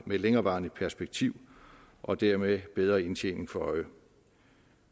længerevarende perspektiv og dermed bedre indtjening for øje